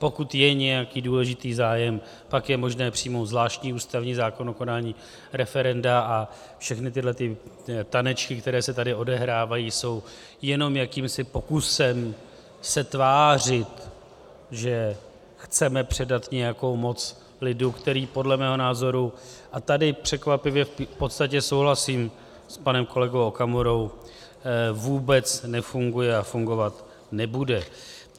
Pokud je nějaký důležitý zájem, pak je možné přijmout zvláštní ústavní zákon o konání referenda a všechny tyhle tanečky, které se tady odehrávají, jsou jenom jakýmsi pokusem se tvářit, že chceme předat nějakou moc lidu, který podle mého názoru, a tady překvapivě v podstatě souhlasím s panem kolegou Okamurou, vůbec nefunguje a fungovat nebude.